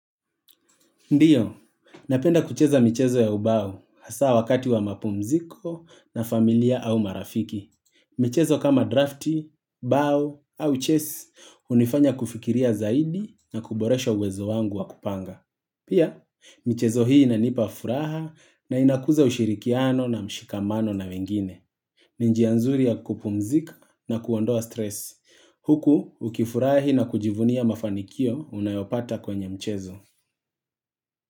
Ndiyo, napenda kucheza michezo ya ubao hasa wakati wa mapumziko na familia au marafiki. Michezo kama drafti, bao au chess hunifanya kufikiria zaidi na kuboresha uwezo wangu wa kupanga. Pia, michezo hii inanipa furaha na inakuza ushirikiano na mshikamano na wengine. Ni njia nzuri ya kupumzika na kuondoa stress. Huku, ukifurahi na kujivunia mafanikio unayopata kwenye mchezo.